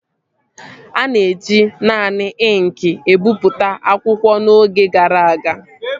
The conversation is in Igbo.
A na-eji naanị ịnkị ebipụta akwụkwọ n'oge gara aga